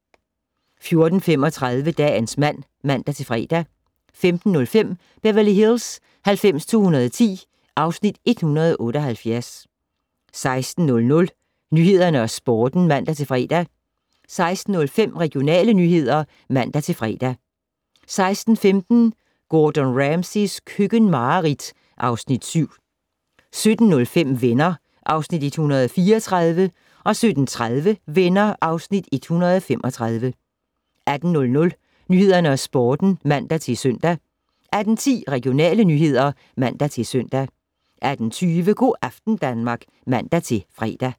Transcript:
14:35: Dagens mand (man-fre) 15:05: Beverly Hills 90210 (Afs. 178) 16:00: Nyhederne og Sporten (man-fre) 16:05: Regionale nyheder (man-fre) 16:15: Gordon Ramsays køkkenmareridt (Afs. 7) 17:05: Venner (Afs. 134) 17:30: Venner (Afs. 135) 18:00: Nyhederne og Sporten (man-søn) 18:10: Regionale nyheder (man-søn) 18:20: Go' aften Danmark (man-fre)